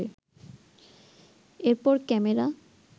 এরপর ক্যামেরা